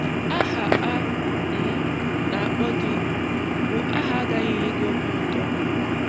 Aha a um na-akpọ gị bụ aha agaghị enye gị obi ụtọ.